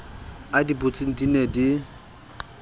a di butseng di ne